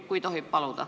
Kui tohib paluda.